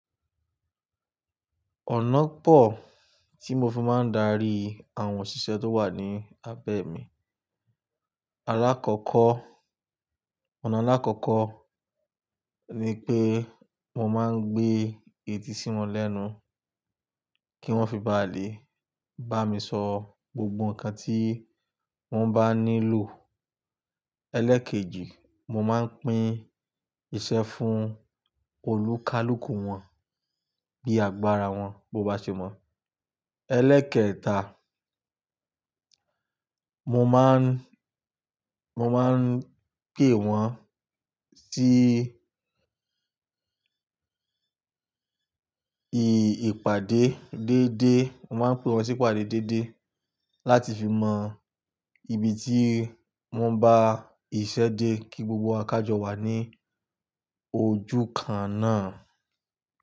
Ọ̀nà pọ̀ tí mo fi máa ń darí àwọn òṣìṣẹ́ tó wà ní abẹ́ mi. Alákọ̀ọ́kọ́, ọ̀nà alákọ̀ọ́kọ́ ni pé mo máa ń gbé etí sí wọn lẹ́nu kí wọ́n fi bá à lé, bá mi sọ gbogbo nǹkan tí wọ́n bá nílò. Ẹlẹ́ẹ̀kejì, mo máa ń pín iṣẹ́ fún olúkálúkù wọn bí àgbára wọn bá ṣe mọ́. Ẹlẹ́ẹ̀kẹta, mo máa ń, mo máa ń pè wọ́n sí ìpàdé déédéé, mo máa ń pè wọ́n sí ìpàdé déédéé láti fi mọ ibi tí wọ́n bá iṣẹ́ dé kí gbogbo kájọ wà ní ojú kan náà.